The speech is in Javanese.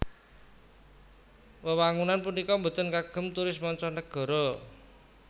Wewangunan punika boten kagem turis mancanagara